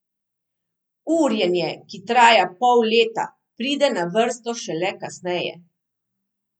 Urjenje, ki traja pol leta, pride na vrsto šele kasneje.